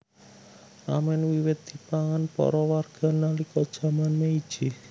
Ramèn wiwit dipangan para warga nalika jaman Meiji